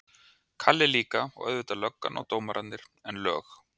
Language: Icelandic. Kalli líka, og auðvitað löggan og dómararnir, en lög